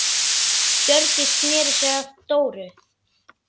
Hjördís sneri sér að Dóru.